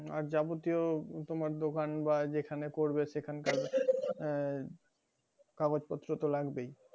আর যাবতীয় দোকান বা যেখানে করবে সেখানকার আহ কাগজ পত্র তো লাগবেই